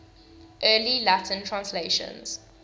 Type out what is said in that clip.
early latin translations